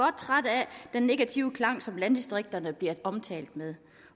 jeg negative klang som landdistrikterne ofte bliver omtalt med